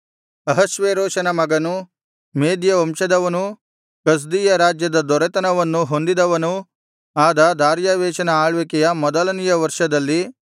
ಅಹಷ್ವೇರೋಷನ ಮಗನೂ ಮೇದ್ಯ ವಂಶದವನೂ ಕಸ್ದೀಯ ರಾಜ್ಯದ ದೊರೆತನವನ್ನು ಹೊಂದಿದವನೂ ಆದ ದಾರ್ಯಾವೆಷನ ಆಳ್ವಿಕೆಯ ಮೊದಲನೆಯ ವರ್ಷದಲ್ಲಿ